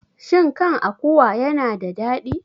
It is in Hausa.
Shin kan akuwa yana da daɗi?